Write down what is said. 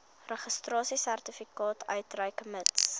registrasiesertifikaat uitreik mits